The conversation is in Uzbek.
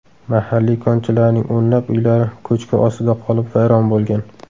Mahalliy konchilarning o‘nlab uylari ko‘chki ostida qolib vayron bo‘lgan.